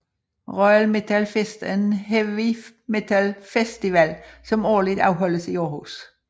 Royal Metal Fest er en heavy metal festival som årligt afholdes i Aarhus